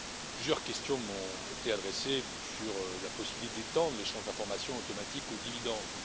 Plusieurs questions m'ont été adressées sur la possibilité d'étendre l'échange d'informations automatique aux dividendes.